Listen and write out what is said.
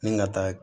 Ni ka taa